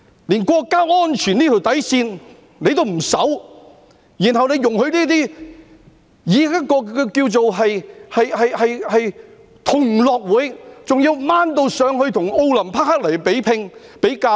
連國家安全這條底線也不守，然後容許這些以同樂運動會為名......還要提升至與奧林匹克比拚、比較。